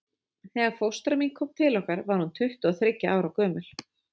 Þegar fóstra mín kom til okkar var hún tuttugu og þriggja ára gömul.